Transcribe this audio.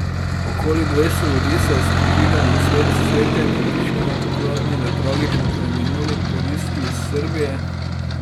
Okoli dvesto ljudi se je s prižiganjem sveč, cvetjem in tišino poklonilo tragično preminuli turistki iz Srbije.